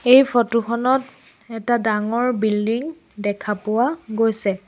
এই ফটো খনত এটা ডাঙৰ বিল্ডিং দেখা পোৱা গৈছে।